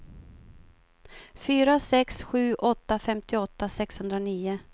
fyra sex sju åtta femtioåtta sexhundranio